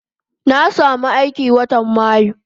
Na samu aiki watan mayu